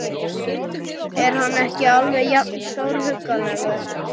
Er hann ekki alveg jafn stórhuggulegur?